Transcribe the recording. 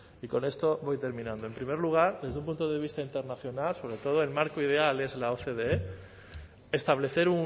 y con esto voy terminando en primer lugar desde un punto de vista internacional sobre todo el marco ideal es la ocde establecer